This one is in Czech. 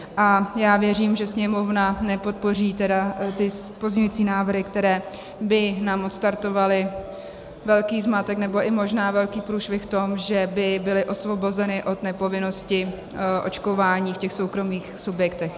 A já věřím, že Sněmovna nepodpoří tedy ty pozměňující návrhy, které by nám odstartovaly velký zmatek, nebo i možná velký průšvih v tom, že by byly osvobozeny od nepovinnosti očkování v těch soukromých subjektech.